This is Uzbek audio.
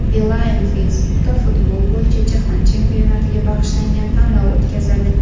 Beeline Facebook’da futbol bo‘yicha jahon chempionatiga bag‘ishlangan tanlov o‘tkazadi.